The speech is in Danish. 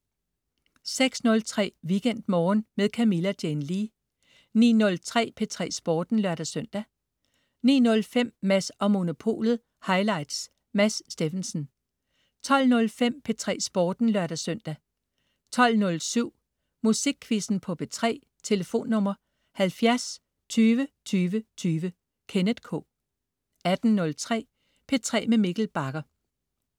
06.03 WeekendMorgen med Camilla Jane Lea 09.03 P3 Sporten (lør-søn) 09.05 Mads & Monopolet highlights. Mads Steffensen 12.05 P3 Sporten (lør-søn) 12.07 Musikquizzen på P3. Tlf.: 70 20 20 20. Kenneth K 18.03 P3 med Mikkel Bagger